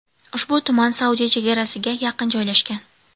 Ushbu tuman Saudiya chegarasiga yaqin joylashgan.